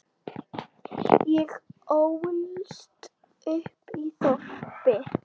Ég ólst upp í þorpi.